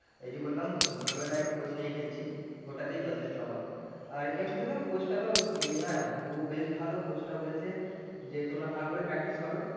এই যে বললাম ভোর বেলায় coach নিয়ে খেলছি ওটাতেই যথেষ্ট আমার আর এমনিতে ধর coach টা তো এ নয় ও বেশ ভালো coach টা বলেছে যে তোমরা ভালো করে practice করো